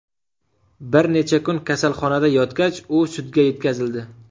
Bir necha kun kasalxonada yotgach, u sudga yetkazildi.